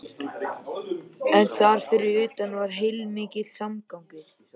En þar fyrir utan var heilmikill samgangur.